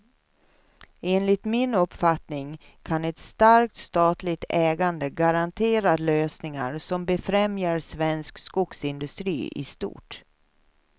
Enligt min uppfattning kan ett starkt statligt ägande garantera lösningar som befrämjar svensk skogsindustri i stort.